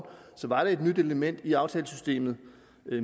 var et nyt element i aftalesystemet